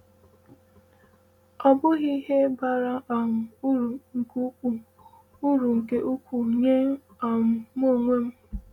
um “Ọ bụ ihe bara um uru nke ukwuu uru nke ukwuu nye um m onwe m.”